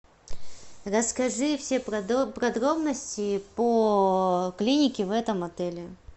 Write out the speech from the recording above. расскажи все подробности по клинике в этом отеле